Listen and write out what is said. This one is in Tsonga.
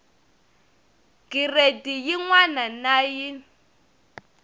giredi yin wana na yin